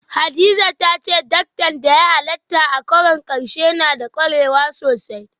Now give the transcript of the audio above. Hadiza ta ce diktan da ya halarta a karon karshe na da kwarewa sosai